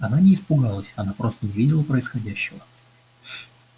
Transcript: она не испугалась она просто не видела происходящего